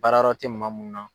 Baarayɔrɔ tɛ maa mun na.